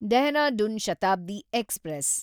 Dehradun Shatabdi express